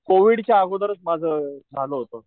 Covid च्या अगोदरच माझं झालं होत.